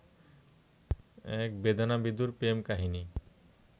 এক বেদনাবিধুর প্রেম কাহিনী